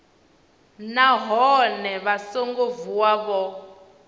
nahone vha songo vuwa vho